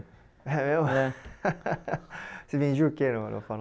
Você vendia o que no farol?